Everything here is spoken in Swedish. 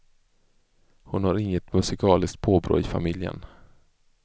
Hon har inget musikaliskt påbrå i famijen.